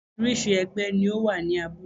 Orísìírísìí ẹgbẹ́ ni ó wà ní abúlé